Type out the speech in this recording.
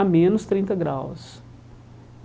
a menos trinta graus.